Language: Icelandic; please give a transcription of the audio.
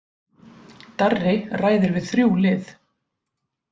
Darri ræðir við þrjú lið